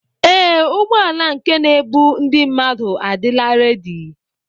Ee, ụgbọala nke n'ebu ndị mmadụ adịla rẹ́di.